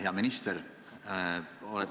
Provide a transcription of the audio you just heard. Hea minister!